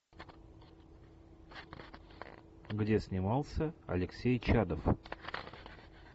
где снимался алексей чадов